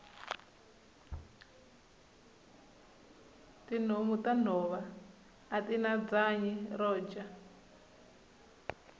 tihhomu tanhova atina bwanyi roja